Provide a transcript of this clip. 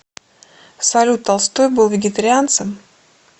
салют толстой был вегетарианцем